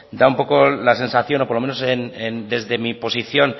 da un poco la sensación o por lo menos desde mi posición